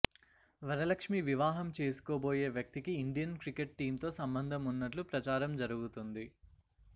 వరలక్ష్మి వివాహం చేసుకోబోయే వ్యక్తికి ఇండియన్ క్రికెట్ టీమ్తో సంబంధం ఉన్నట్లు ప్రచారం జరుగుతుంది